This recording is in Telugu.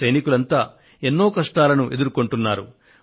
ఈ సైనికులంతా ఎన్నో కష్టాలను ఎదుర్కొంటున్నారు